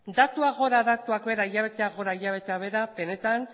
datuak gora datuak behera hilabeteak gora hilabeteak behera benetan